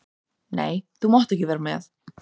Nei, þú mátt ekki vera með.